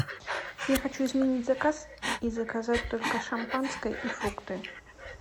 я хочу изменить заказ и заказать только шампанское и фрукты